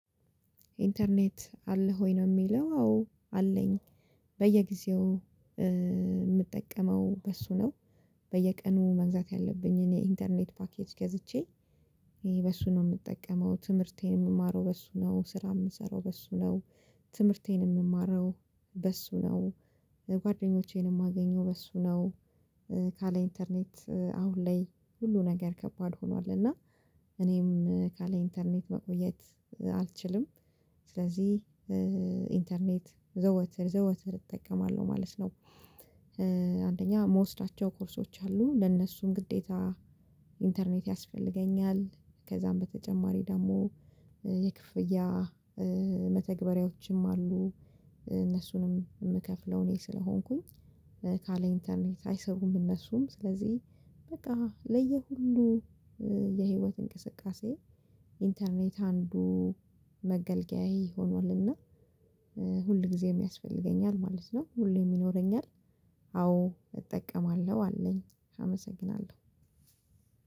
ኢንተርኔት አለህ ወይ? ነው የሚለው አዎ አለኝ። በየጊዜው የምጠቀመው በሱ ነው በየቀኑ መግዛት ያለብኝን የኢንተርኔት ፓኬጅ ገዝቼ። በሱ ነው የምጠቀመው ትምህርቴን የምማረው በሱ ነው ስራ የምሰራው በሱ ነው። ትምህርቴን የምማረው በሱ ነው። ጓደኞቼን የማገኘው በሱ ነው። ካለ ኢንተርኔት አሁን ላይ ሁሉ ነገር ከባድ ሆኗል እና። እኔም ካለ ኢንተርኔት መቆየት አልችልም። ስለዚህ ኢንተርኔት ዘወትር ዘወትር እጠቀማለሁ ማለት ነው። አንደኛ የምወስዳቸው ኮርሶች አሉ ለእነሱም ግዴታ ኢንተርኔት ያስፈልገኛል። ከዛም በተጨማሪ ደግሞ የክፍያ መተግበሪያዎችም አሉ። እነሱንም የምከፍለው እኔ ስለሆንኩኝ። ካለ ኢንተርኔት አይሰሩም እነሱም ስለዚህ በቃ ለየ ሁሉ። የህይወት እንቅስቃሴ ኢንተርኔት አንዱ መገልገያዬ ሆኗልና። ሁልጊዜም ያስፈልገኛል ማለት ነው ሁሌም ይኖረኛል። አዎ እጠቀማለሁ አለኝ አመሰግናለሁ።